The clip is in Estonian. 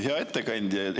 Hea ettekandja!